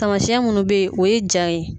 Samasiyɛn minnu bɛ yen o ye ja ye